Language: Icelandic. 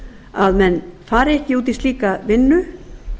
að menn fari ekki út í slíka vinnu